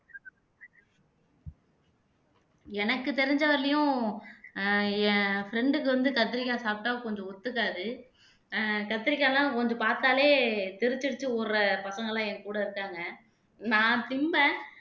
எனக்கு தெரிஞ்ச வரையிலும் ஆஹ் என் friend க்கு வந்து கத்தரிக்காய் சாப்பிட்டா கொஞ்சம் ஒத்துக்காது ஆஹ் கத்தரிக்காய் எல்லாம் கொஞ்சம் பார்த்தாலே தெறிச்சிஅடிச்சு ஓடுற பசங்க எல்லாம் என் கூட இருக்காங்க நான் திண்பேன்